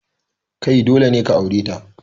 Kai, dole ne ka aure ta.